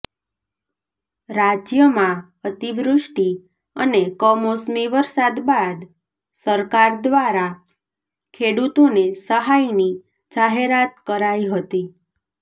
રાજ્યમાં અતિવૃષ્ટી અને કમોસમી વરસાદ બાદ સરકાર દ્વારા ખેડૂતોને સહાયની જાહેરાત કરાઈ હતી